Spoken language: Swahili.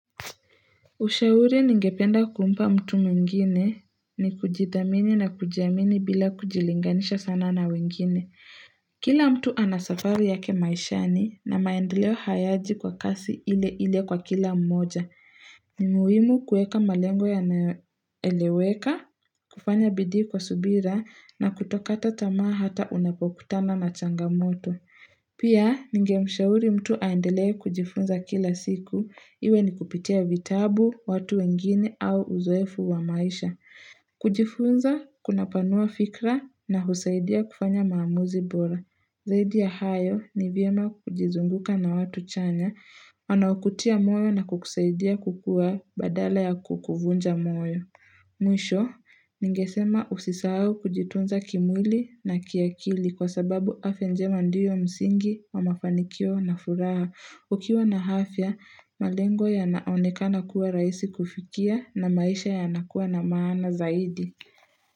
Ushauri ningependa kumpa mtu mwingine ni kujidhamini na kujiamini bila kujilinganisha sana na wengine. Kila mtu ana safari yake maishani na maendeleo hayaji kwa kasi ile ile kwa kila mmoja. Ni muhimu kuweka malengo yanayoeleweka, kufanya bidii kwa subira na kutokata tamaa hata unapokutana na changamoto. Pia ningemshauri mtu aendelee kujifunza kila siku iwe ni kupitia vitabu, watu wengine au uzoefu wa maisha. Kujifunza, kunapanua fikra na husaidia kufanya maamuzi bora. Zaidi ya hayo ni vyema kujizunguka na watu chanya, wanaokutia moyo na kukusaidia kukua badala ya kukuvunja moyo. Mwisho, ningesema usisahau kujitunza kimwili na kiakili kwa sababu afya njema ndiyo msingi wa mafanikio na furaha. Ukiwa na hafya, malengo yanaoneka kuwa rahisi kufikia na maisha yanakuwa na maana zaidi.